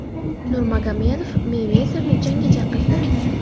Nurmagomedov Meyvezerni jangga chaqirdi .